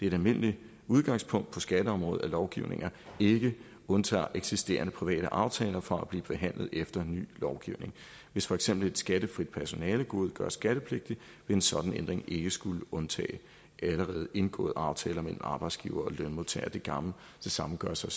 et almindeligt udgangspunkt på skatteområdet at lovgivninger ikke undtager eksisterende private aftaler fra at blive behandlet efter ny lovgivning hvis for eksempel et skattefrit personalegode gøre skattepligtigt vil en sådan ændring ikke skulle undtage allerede indgåede aftaler mellem arbejdsgivere og lønmodtagere det samme gør sig